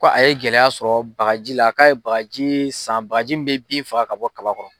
Ko a ye gɛlɛya sɔrɔ bagaji la, k'a ye bagaji san ,bagaji bɛ bin faga ka bɔ kaba kɔrɔ.